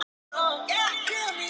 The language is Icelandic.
Það segir mamma hans.